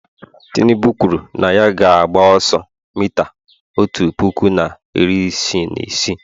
tinubu kwuru na ya ga-agba ọsọ mita otu puku na iri isii na isii